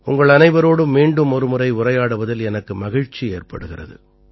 உங்களனைவரோடும் மீண்டும் ஒருமுறை உரையாடுவதில் எனக்கு மகிழ்ச்சி ஏற்படுகிறது